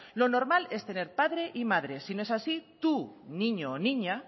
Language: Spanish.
lo normal es tener padre y madre si no es así tu niño o niña